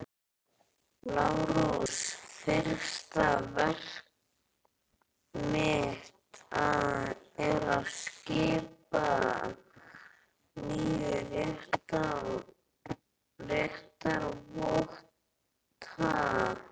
LÁRUS: Fyrsta verk mitt er að skipa nýja réttarvotta.